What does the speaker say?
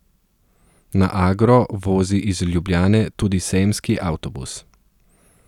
Na Agro vozi iz Ljubljane tudi sejemski avtobus.